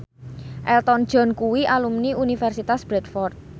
Elton John kuwi alumni Universitas Bradford